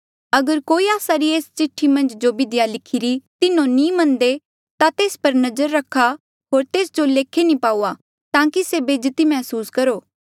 अगर कोई आस्सा री एस्सा चिठ्ठी मन्झ जो बिधिया लिखिरी तिन्हो नी मन्नदे ता तेस पर नजर रखा होर तेस जो लेखे नी पाऊआ ताकि से बेज्जती मैहसूस करहे